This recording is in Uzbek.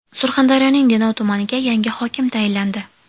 Surxondaryoning Denov tumaniga yangi hokim tayinlandi.